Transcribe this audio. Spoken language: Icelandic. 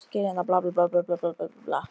Þangað vildi hann nú ólmur komast til að veiða.